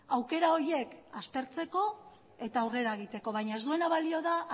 aukera horiek aztertzeko eta aurrera egiteko baina ez duena balio da